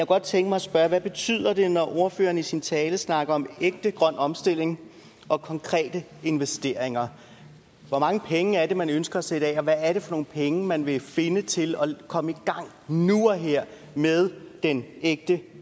godt tænke mig at spørge hvad betyder det når ordføreren i sin tale snakker om ægte grøn omstilling og konkrete investeringer hvor mange penge er det man ønsker at sætte af og hvad er det for nogle penge man vil finde til at komme i gang nu og her med den ægte